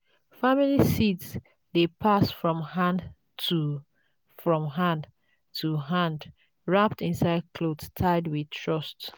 family seeds dey pass from hand to from hand to hand wrapped inside cloth tied with trust.